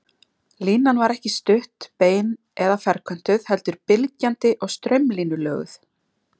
Línan var ekki stutt, bein eða ferköntuð heldur bylgjandi og straumlínulöguð.